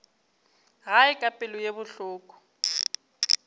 gae ka pelo ye bohloko